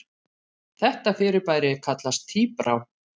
Þetta fyrirbæri kallast tíbrá.